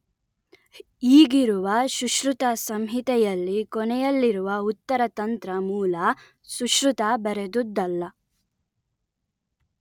ಈಗಿರುವ ಸುಶ್ರುತ ಸಂಹಿತೆಯಲ್ಲಿ ಕೊನೆಯಲ್ಲಿರುವ ಉತ್ತರ ತಂತ್ರ ಮೂಲ ಸುಶ್ರುತ ಬರೆದುದ್ದಲ್ಲ